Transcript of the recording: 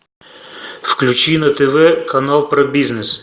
включи на тв канал про бизнес